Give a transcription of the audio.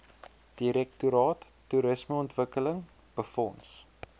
direktoraat toerismeontwikkeling befonds